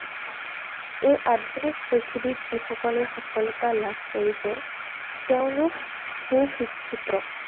এই আধুনিক পৃথিৱীত যিসকলে সফলতা লাভ কৰিছে , তেওঁলোক সুশিক্ষিত।